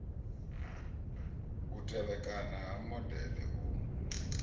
u tevhekana ha modele u